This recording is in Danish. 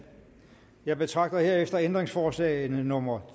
jeg betragter herefter ændringsforslagene nummer